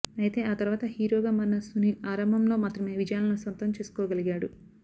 అయితే ఆ తరువాత హీరోగా మారిన సునీల్ ఆరంభంలో మాత్రమే విజయాలను సొంతం చేసుకోగలిగాడు